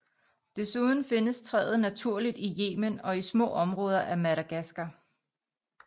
Desuden findes træet naturligt i Yemen og i små områder af Madagaskar